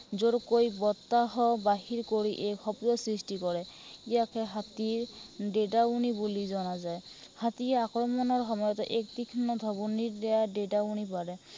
জোৰকৈ বতাহ বাহিৰ কৰি এই শব্দৰ সৃষ্টি কৰে। ইযাকে হাতীৰ ডেদাউনি বুলি জনা যায়। হাতীয়ে আক্ৰমণৰ সময়তো এই তীক্ষ্ণ ভাবুকিৰ দ্বাৰা ডেদাউনি কৰা যায়।